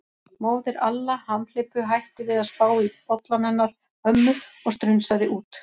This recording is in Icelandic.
Móðir Alla hamhleypu hætti við að spá í bollann hennar ömmu og strunsaði út.